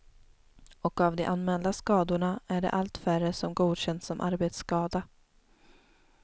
Och av de anmälda skadorna är det allt färre som godkänns som arbetsskada.